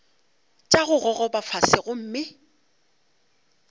tša go gogoba fase gomme